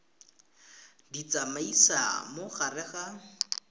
di tsamaisa mo gare ga